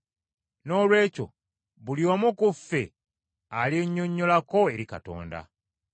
Noolwekyo buli omu ku ffe alyennyonnyolako eri Katonda.